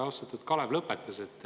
Austatud Riigikogu aseesimees!